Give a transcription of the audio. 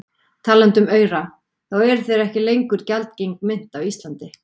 Talandi um aura, þá eru þeir ekki lengur gjaldgeng mynt á Íslandi.